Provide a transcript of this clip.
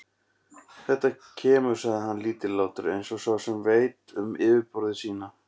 Þetta kemur, sagði hann lítillátur, eins og sá sem veit um yfirburði sína.